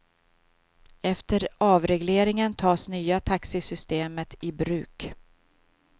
Efter avregleringen tas nya taxisystemet i bruk.